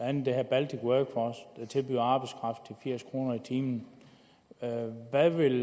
andet den her baltic workforce der tilbyder arbejdskraft til firs kroner i timen hvad vil